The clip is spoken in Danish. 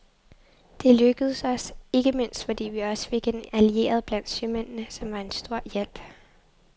Det lykkedes os, ikke mindst fordi vi også fik en allieret blandt sømændene, som var en stor hjælp.